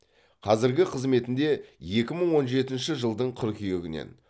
қазіргі қызметінде екі мың он жетінші жылдың қыркүйегінен